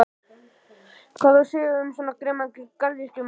Hvað á að segja um svo grimman garðyrkjumann?